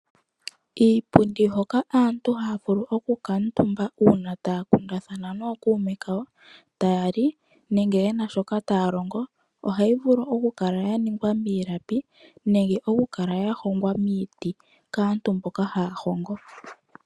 Iipundi hoka aantu haa vulu oku kala omutumba uuna taa kundathana nokuume, taali nenge yena shoka taa longo ohayi vulu okukala ya ningwa miilapi, nenge okukala ya hongwa miiti kaantu mboka haya hongo.